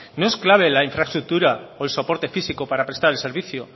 no es clave la infraestructura o el soporte físico para prestar el servicio